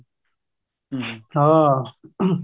ਹਮ ਹਾਂ caughing